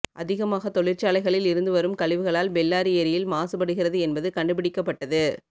அதிகாமாக தொழிற்சாலைகளில் இருந்து வரும் கழிவுகளால் பெல்லாரி ஏரியில் மாசுபடுகிறது என்பது கண்டுபிடிக்கப்பட்டது